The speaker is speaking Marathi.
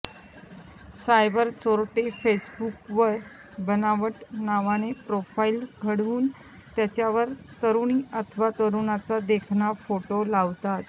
सायबर चोरटे फेसबुकवर बनावट नावाने प्रोफाइल उघडून त्याच्यावर तरुणी अथवा तरुणाचा देखणा फोटो टाकतात